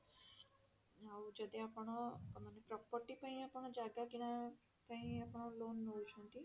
ଆଉ ଯଦି ଆପଣ ମାନେ property ପାଇଁ ଆପଣ ଜାଗା କିଣା ପାଇଁ ଆପଣ loan ନଉଛନ୍ତି